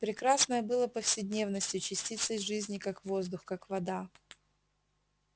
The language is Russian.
прекрасное было повседневностью частицей жизни как воздух как вода